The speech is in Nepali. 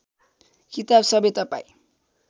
किताब सबै तपाईँ